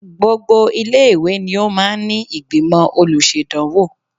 Gbogbo ilé-ìwé ni ó máa ń ní ìgbìmọ̀ olùṣèdánwò